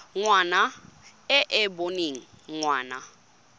ngwana e e boneng ngwana